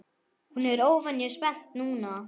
Hún er óvenju spennt núna.